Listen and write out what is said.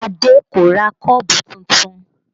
Adé kò ra kọ́ọ̀bù tuntun